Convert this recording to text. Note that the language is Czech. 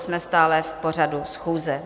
Jsme stále v pořadu schůze.